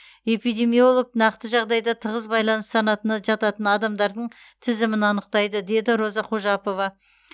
эпидемиолог нақты жағдайда тығыз байланыс санатына жататын адамдардың тізімін анықтайды деді роза қожапова